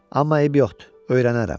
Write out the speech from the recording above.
Amma eybi yoxdur, öyrənərəm.